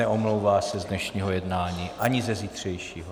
Neomlouvá se z dnešního jednání ani ze zítřejšího.